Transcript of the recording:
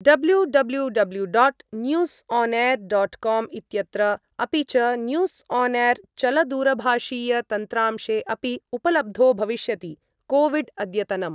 W W W dot news on air dot com इत्यत्र, अपि च, न्यूस् आन् एर् चलदूरभाषीयतन्त्रांशे अपि उपलब्धो भविष्यति कोविड् अद्यतनम्